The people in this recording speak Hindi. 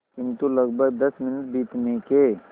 किंतु लगभग दस मिनट बीतने के